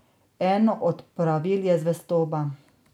Eno od pravil je zvestoba.